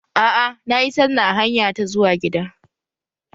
Aa, nayi sallah a hanya ta zuwa gida